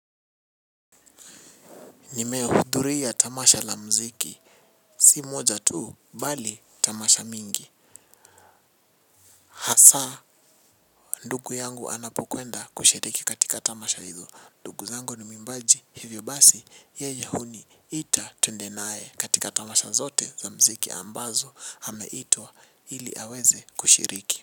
Nimehudhuri ya tamasha la mziki si moja tuu bali tamasha mingi hasaa ndugu yangu anapokwenda kushiriki katika tamasha hizo ndugu zangu ni mwimbaji hivyo basi yeye huniita twende nae katika tamasha zote za mziki ambazo hameitwa hili aweze kushiriki.